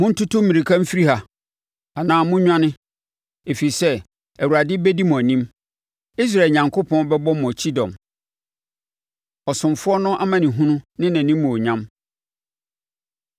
Monntutu mmirika mfiri ha anaa monnwane; ɛfiri sɛ Awurade bɛdi mo anim, Israel Onyankopɔn bɛbɔ mo kyidɔm. Ɔsomfoɔ No Amanehunu Ne Nʼanimuonyam